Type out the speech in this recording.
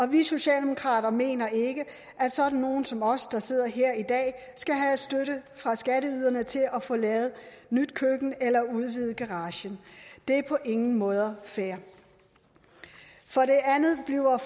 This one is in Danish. vi socialdemokrater mener ikke at sådan nogle som os der sidder her i dag skal have støtte fra skatteyderne til at få lavet nyt køkken eller udvidet garagen det er på ingen måde fair for det andet bliver